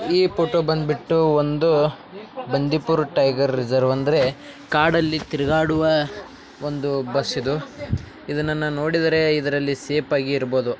ಈ ಫೋಟೋ ಬಂದ್ಬಿಟ್ಟು ಒಂದು ಬಂಡಿಪುರ್ ಟೈಗರ್ ರಿಸರ್ವ್ ಅಂದ್ರೆ ಕಾಡಲ್ಲಿ ತಿರುಗಾಡುವ ಒಂದು ಬಸ್ಸಿದು ಇದನ್ನ ನಾ ನೋಡಿದರೆ ಇದರಲ್ಲಿ ಸೇಫ್ ಆಗಿರಬಹುದು.